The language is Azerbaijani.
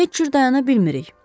Heç cür dayana bilmirik.